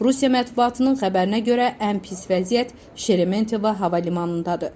Rusiya mətbuatının xəbərinə görə, ən pis vəziyyət Şeremetiyeva hava limanındadır.